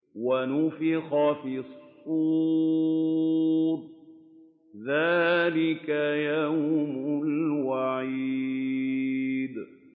وَنُفِخَ فِي الصُّورِ ۚ ذَٰلِكَ يَوْمُ الْوَعِيدِ